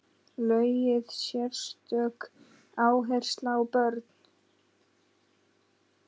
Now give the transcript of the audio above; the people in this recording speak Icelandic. Lögð sérstök áhersla á börnin.